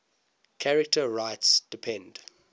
charter rights depend